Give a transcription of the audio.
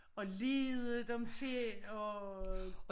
Og lede dem til og